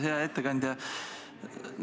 Hea ettekandja!